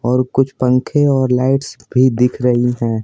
और कुछ पंखे और लाइट्स भी दिख रही हैं।